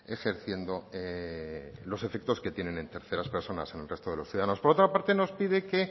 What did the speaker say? ejerciendo los efectos que tienen en terceras personas en el resto de los ciudadanos por otra parte nos pide que